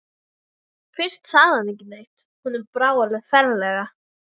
Svo, óhagganlega, óbifanlega, óumflýjanlega kemur dagurinn.